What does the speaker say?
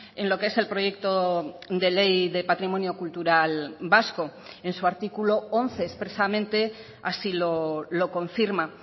en lo que es el proyecto de ley de patrimonio cultural vasco en su artículo once expresamente así lo confirma